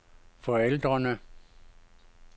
forældrene